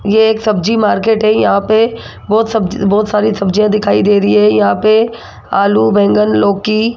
ये एक सब्जी मार्केट है यहां पे बहोत सब्जी बहोत सारी सब्जियां दिखाई दे रही है यहां पे आलू बैंगन लौकी --